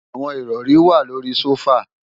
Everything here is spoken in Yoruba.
Àwọn ìrọ̀ri wà lórí i sófà